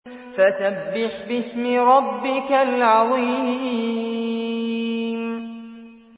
فَسَبِّحْ بِاسْمِ رَبِّكَ الْعَظِيمِ